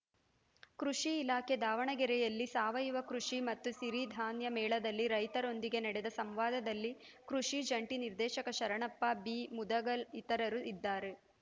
ಕೃಷಿ ಇಲಾಖೆ ದಾವಣಗೆರೆಯಲ್ಲಿ ಸಾವಯವ ಕೃಷಿ ಮತ್ತು ಸಿರಿಧಾನ್ಯ ಮೇಳದಲ್ಲಿ ರೈತರೊಂದಿಗೆ ನಡೆದ ಸಂವಾದದಲ್ಲಿ ಕೃಷಿ ಜಂಟಿ ನಿರ್ದೇಶಕ ಶರಣಪ್ಪ ಬಿಮುದಗಲ್‌ ಇತರರು ಇದ್ದಾರೆ